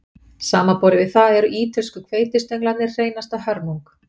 Samanborið við það eru ítölsku hveitistönglarnir hreinasta hörmung